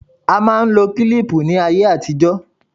A máa ń lo kílíìpù ní ayé àtijó.